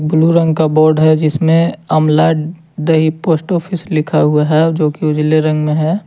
Blue रंग का board है जिसमे अमला दही पोस्ट ऑफिस लिखा हुआ है जो की उजाले रंग में है।